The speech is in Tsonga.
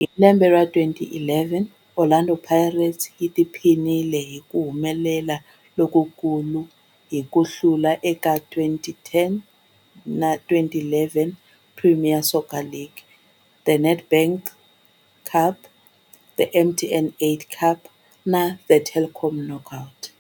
Hi lembe ra 2011, Orlando Pirates yi tiphinile hi ku humelela lokukulu hi ku hlula eka 2010 na 2011 Premier Soccer League, The Nedbank Cup, The MTN 8 Cup na The Telkom Knockout.